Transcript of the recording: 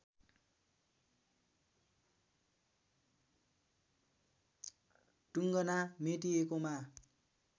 टुङ्गना मेटिएकोमा